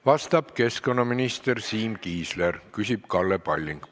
Vastab keskkonnaminister Siim Kiisler, küsib Kalle Palling.